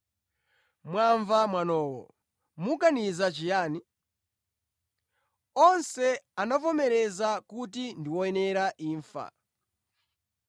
Mwamva mwanowo. Muganiza chiyani?” Onse anavomereza kuti ndi woyenera imfa.